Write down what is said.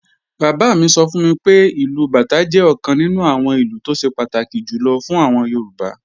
Bàbá mi sọ fún mi pé, ìlù bàtá jẹ́ ọ̀kan nínú àwọn ìlù tó ṣe pàtàkì jùlọ fún àwọn Yorùbá